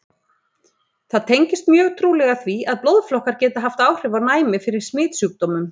Það tengist mjög trúlega því, að blóðflokkar geta haft áhrif á næmi fyrir smitsjúkdómum.